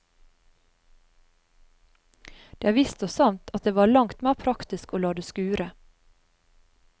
Det er visst og sant at det var langt mer praktisk å la det skure.